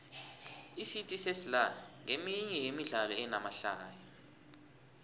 icity sesla nqeminye yemidlalo enamahlaya